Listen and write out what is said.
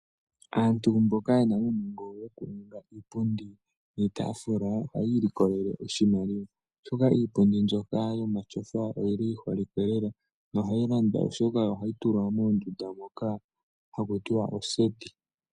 Aantu mboka ye na uunongo woku ninga iipundi niitaafula, oha yi ilikolele oshimaliwa, oshoka iipundi mbyoka yomatyofa, oyi li yi holikwe lela, noha yi landwa oshoka oha yi tulwa moondunda koka haku tiwa ooseti.